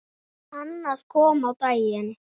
Annað kom á daginn.